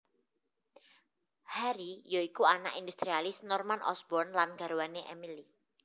Harry ya iku anak industrialis Norman Osborn lan garwane Emily